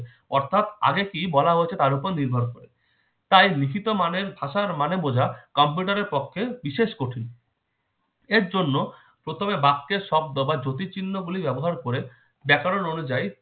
থাক আগে কি বলা হচ্ছে তার ওপর নির্ভর করে তাই লিখিত মানের ভাষার মানে বোঝা কম্পিউটারের পক্ষে বিশেষ কঠিন এইজন্য প্রথমে বাক্যের শব্দ বা জটিল চিহ্ন গুলি ব্যবহার করে ব্যাকরণ অনুযায়ী